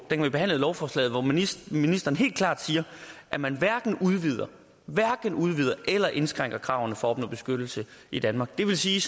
vi behandlede lovforslaget hvor ministeren ministeren helt klart siger at man hverken udvider eller indskrænker kravene for at opnå beskyttelse i danmark det vil sige